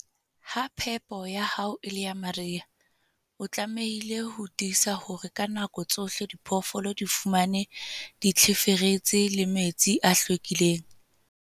Ha phepo ya hao e le ya mariha, o tlamehile ho tiisa hore ka nako tsohle diphoofolo di fumana ditlheferetsi le metsi a hlwekileng.